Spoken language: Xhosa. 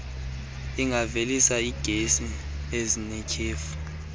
ingavelisa iigesi ezinetyhefu